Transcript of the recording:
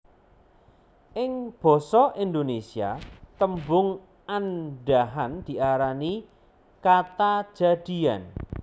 Ing basa Indonesia tembung andhahan diarani kata jadian